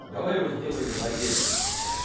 давай его сделаем владельцем